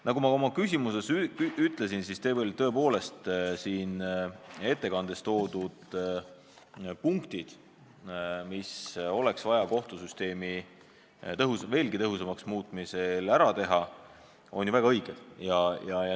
Nagu ma oma küsimuses ütlesin, ettekandes toodud punktid, mida oleks vaja kohtusüsteemi veelgi tõhusamaks muutmisel ära teha, on ju väga õiged.